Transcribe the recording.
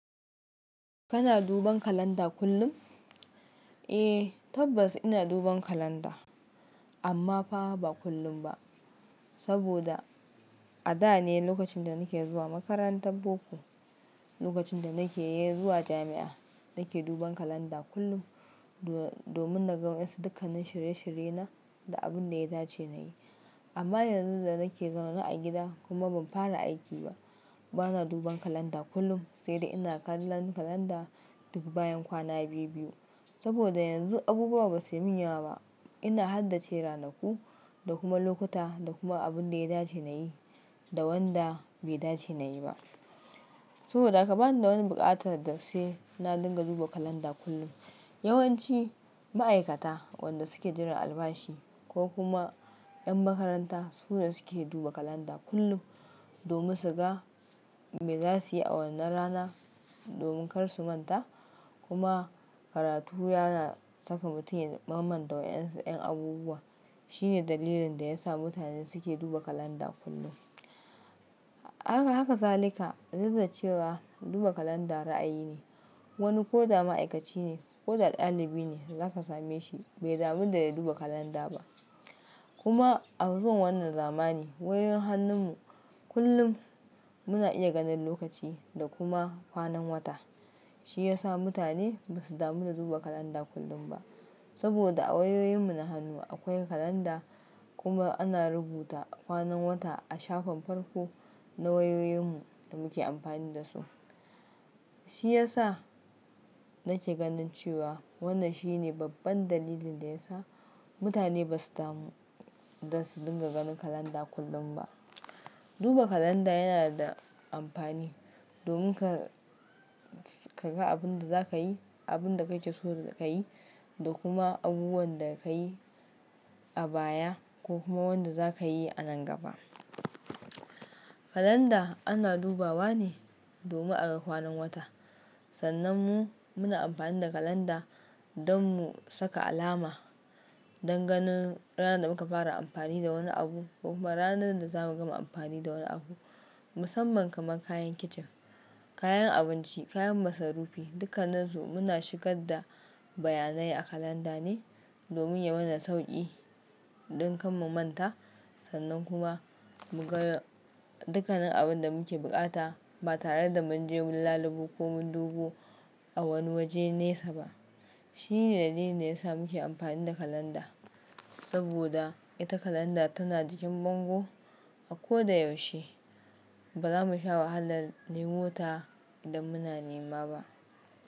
Kana duban kalanda kullum? Eh tabbas ina duban kalanda amma fa ba kullum ba saboda a da ne lokacin da nake zuwa makarantan boko, lokacin da nake zuwa jami'a nake duban kalanda kullum do-domin na ga wa su dukkanin shirye shirye na da abun da ya dace nayi. Amma yanzu da nake zaune a gida kuma ban fara aiki ba bana duban kalanda kullum sai dai ina kallan kalanda duk bayan kwana biyu biyu saboda yanzu abubuwa basu min yawa ba ina haddace ranaku da kuma lokuta da kuma abun da ya dace nayi da wanda bai dace nayi ba. Saboda haka bani da wani buƙatar da sai na dinga duba kalanda kullum. Yawanci ma'aikata wanda suke jiran albashi ko kuma yan makaranta su ne suke duba kalanda kullum domin su ga me zasuyi a wannan rana domin kar su manta kuma karatu yana saka mutum ya mam manta wayansu yan abubuwa shine dalilin da yasa mutane suke duba kalanda kullum. Haka, haka zalika duk da cewa duba kalanda ra'ayi ne wani koda ma'aikaci ne ko da ɗalibi ne zaka same shi bai damu da ya duba kalanda ba. Kuma a zuwan wannan zamani wayoyin hannun mu kullum muna iya ganin lokaci da kuma kwanan wata shi ya sa mutane basu damu da duba kalanda kullum ba saboda a wayoyin mu na hannu akwai kalanda kuma ana rubuta kwanan wata a shafin farko na wayoyin mu da muke amfani da su. Shi ya sa nake ganin cewa wannan shi ne babban dalilin da ya sa mutane basu damu dan su dinga ganin kalanda kullum ba. Duba kalanda yana da amfani domin ka, ka ga abun da zakayi, abun da ka keso ka yi da kuma abubuwan da ka yi a baya ko kuma wanda za ka yi a nan gaba. Kalanda ana dubawa ne domin a ga kwanan wata sannan mu muna amfani da kalanda don mu saka alama don ganin ranar da muka fara amfani da wani abu ko kuma ranar da zamu gama amfani da wani abu musamman kamar kayan kicin, kayan abinci, kayan masarufi dukkanan su muna shigar da bayanai a kalanda ne domin ya mana sauƙi ɗan kan mu manta sannan kuma mu ga dukkanin abun da muke buƙata ba tare da mun je mun lalubo ko mun dubo a wani waje nesa ba. Shi ne dalilin da ya sa muke amfani da kalanda saboda ita kalanda tana jikin bango a ko da yaushe ba zamu sha wahalar nemo ta idan muna nema ba.